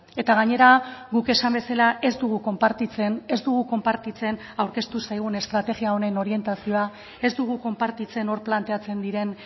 eta gainera guk esan bezala ez dugu konpartitzen ez dugu konpartitzen aurkeztu zaigun estrategia honen orientazioa ez dugu konpartitzen hor planteatzen diren